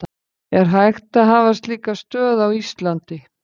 Er hægt að hafa slíka stöð á Íslandi?